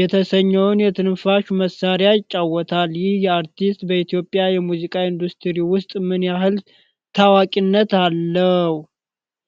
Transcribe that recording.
የተሰኘውን የትንፋሽ መሳሪያ ይጫወታል። ይህ አርቲስት በኢትዮጵያ የሙዚቃ ኢንዱስትሪ ውስጥ ምን ያህል ታዋቂነት አለው?